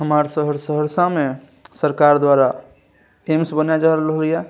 हमर शहर सहरसा में सरकार द्वारा टीम्स बनाय रहले ये।